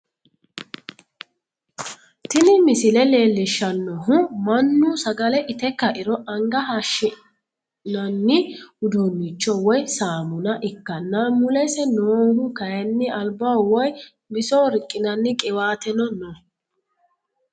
Tini misile leellishshannohu mannu sagale ite ka'iro anga hashshi'nanni uduunnicho woy saamuna ikkanna, mulese noohu kayiinni albaho woy bisoho riqqinanni qiwaateno no,